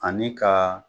Ani ka